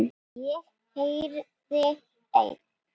Ég yrði ein.